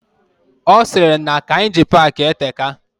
Osiri na Kainji park eteka.